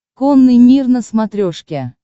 конный мир на смотрешке